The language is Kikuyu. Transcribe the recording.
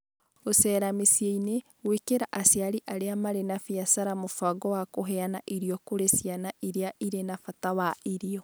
Gũceera mĩciĩ-inĩ, gwĩkĩra aciari arĩa marĩ na biacara mũbango wa kũheana irio kũrĩ ciana iria irĩ na bata wa irio.